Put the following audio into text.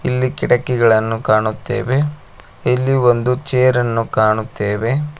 ಇಲ್ಲಿ ಕಿಟಕಿಗಳನ್ನು ಕಾಣುತ್ತೇವೆ ಇಲ್ಲಿ ಒಂದು ಚೇರ್ ಅನ್ನು ಕಾಣುತ್ತೇವೆ.